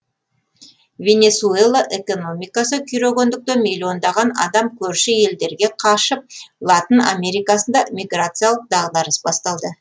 венесуэла экономикасы күйрегендіктен миллиондаған адам көрші елдерге қашып латын америкасында миграциялық дағдарыс басталды